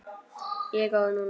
Ég er góð núna.